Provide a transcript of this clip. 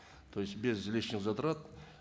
то есть без лишних затрат